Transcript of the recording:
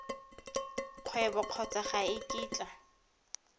kgwebo kgotsa ga e kitla